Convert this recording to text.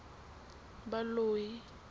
baloi